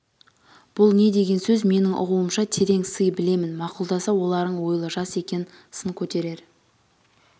бұл не деген сөз менің ұғуымша терең сын білемін мақұлдаса оларың ойлы жас екен сын көтерер